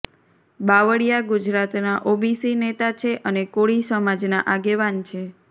બાવળિયા ગુજરાતના ઓબીસી નેતા છે અને કોળી સમાજના આગેવાન છે